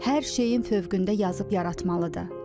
Hər şeyin fövqündə yazıb yaratmalıdır.